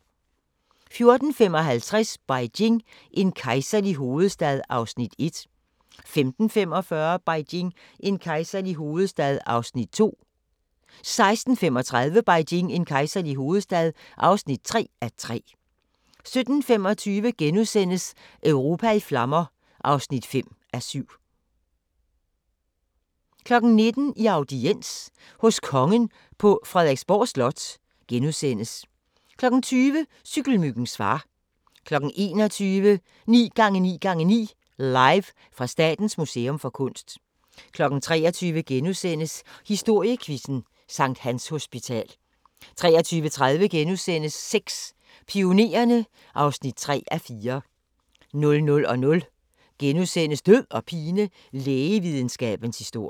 14:55: Beijing – en kejserlig hovedstad (1:3) 15:45: Beijing – en kejserlig hovedstad (2:3) 16:35: Beijing – en kejserlig hovedstad (3:3) 17:25: Europa i flammer (5:7)* 19:00: I audiens hos kongen på Frederiksborg Slot * 20:00: Cykelmyggens far 21:00: 9x9x9 – Live fra Statens Museum for Kunst 23:00: Historiequizzen: Sct. Hans Hospital * 23:30: Sex: Pionererne (3:4)* 00:00: Død og pine: Lægevidenskabens Historie 2 *